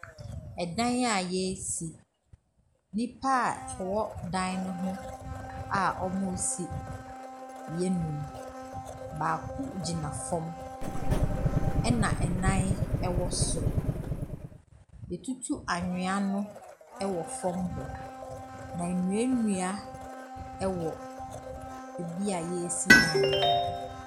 Dan a yɛresi, nnipa a wɔwɔ dan ne ho a wɔresi yɛ nnum, baako gyina fam na nnan wɔ soro. Yɛatutu anwea wɔ fam ho, na nnuannua wɔ beebi a yɛresi dan no.